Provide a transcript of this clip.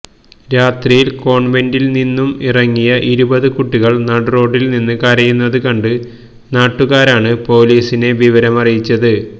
രാത്രിയില് കോണ്വെന്റില് നിന്നും ഇറങ്ങിയ ഇരുപത് കുട്ടികള് നടുറോഡില് നിന്ന് കരയുന്നത് കണ്ട് നാട്ടുകാരാണ് പൊലീസിനെ വിവരമറിയിച്ചത്